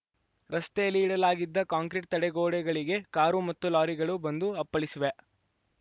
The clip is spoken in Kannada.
ರಸ್ತೆಯಲ್ಲಿ ಇಡಲಾಗಿದ್ದ ಕಾಂಕ್ರಿಟ್‌ ತಡೆಗೋಡೆಗಳಿಗೆ ಕಾರು ಮತ್ತು ಲಾರಿಗಳು ಬಂದು ಅಪ್ಪಳಿಸಿವೆ